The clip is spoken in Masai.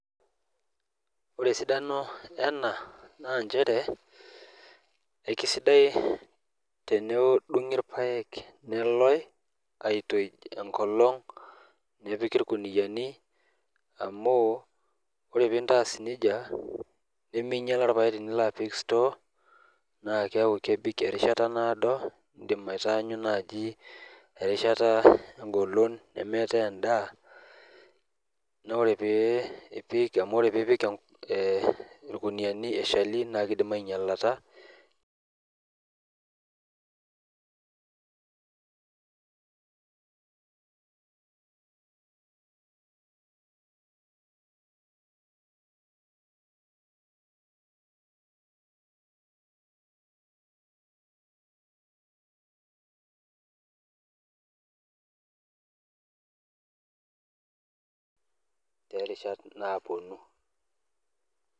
Ore esidano ena naa inchere ekeisidai tenedung'i irpaek neloi aitoij irkuniyiani amu kore pee intaas nejia nemeinyiala irpaek tenilo apik stoo naa kebik naa keidim aitaanyu erishat naaji engolon nemeeitai endaa naa ore pee ipik irkuniani eshali naa keidim ainyialata pause